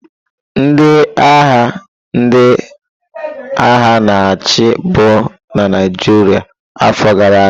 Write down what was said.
Ndị agha ndị agha na-achị bu na Naịjirịa afọ gara aga.